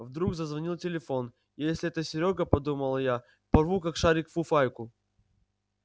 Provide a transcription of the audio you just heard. вдруг зазвонил телефон если это серёга подумала я порву как шарик фуфайку